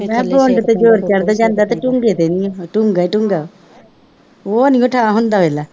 ਮੈਂ ਕਿਹਾ ਤੇ ਜ਼ੋਰ ਚੜ੍ਹ ਜਾਂਦਾ, ਤੇ ਤੇ ਨਹੀਂ, ਉਹ ਨਹੀਂ ਬਿਠਾ ਹੁੰਦਾ ਵੇਖ ਲਾ